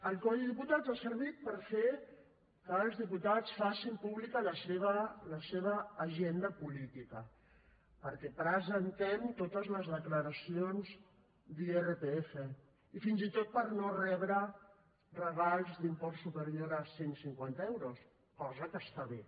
el codi de diputats ha servit per fer que els diputats facin pública la seva agenda política perquè presentem totes les declaracions d’irpf i fins i tot per no rebre regals d’imports superior a cent cinquanta euros cosa que està bé